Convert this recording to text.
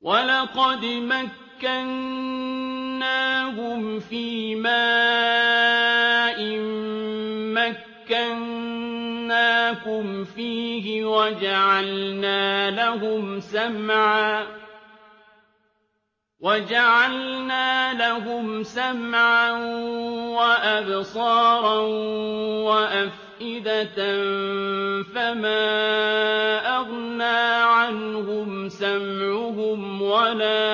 وَلَقَدْ مَكَّنَّاهُمْ فِيمَا إِن مَّكَّنَّاكُمْ فِيهِ وَجَعَلْنَا لَهُمْ سَمْعًا وَأَبْصَارًا وَأَفْئِدَةً فَمَا أَغْنَىٰ عَنْهُمْ سَمْعُهُمْ وَلَا